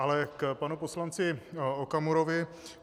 Ale k panu poslanci Okamurovi.